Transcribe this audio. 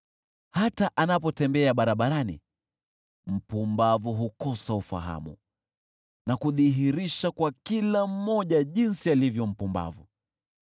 Hata anapotembea barabarani, mpumbavu hukosa ufahamu na kudhihirisha kwa kila mmoja jinsi alivyo mpumbavu.